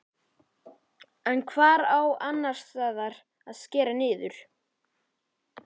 En hvar á annarsstaðar að að skera niður?